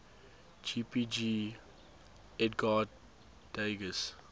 jpg edgar degas